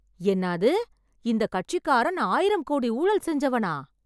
என்னாது... இந்த கட்சிக்காரன் ஆயிரம் கோடி ஊழல் செஞ்சவனா...